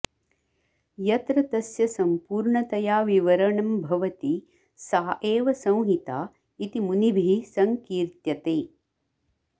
यत्र तस्य सम्पूर्णतया विवरणं भवति सा एव संहिता इति मुनिभिः सङ्कीर्त्यते